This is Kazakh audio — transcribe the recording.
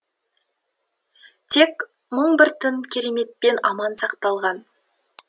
тек мың бір түн кереметпен аман сақталған